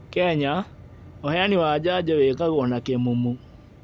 Kenya, ũheani wa njanjo wĩkagũo na kĩmumu